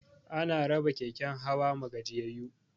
Ana raba keken hawa ma gajiyayu